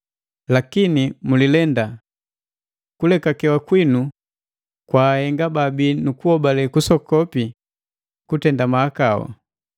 Lakini mulilenda! Kulekakewa kwinu kwaahenga babii nukuhobale kusoku kutenda mahakau.